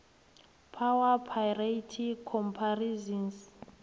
power parity comparisons